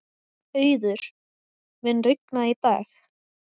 Auður, mun rigna í dag?